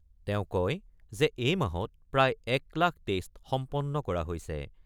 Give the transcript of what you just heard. তেওঁ কয় যে এই মাহত প্ৰায় ১ লাখ টেষ্ট সম্পন্ন কৰা হৈছে।